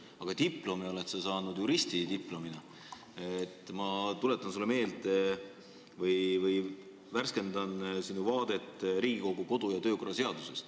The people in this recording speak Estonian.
Aga sa oled siiski saanud juristidiplomi ja ma värskendan sinu teadmisi Riigikogu kodu- ja töökorra seadusest.